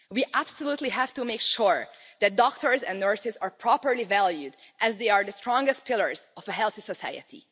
We absolutely have to make sure that doctors and nurses are properly valued, as they are the strongest pillars of a healthy society.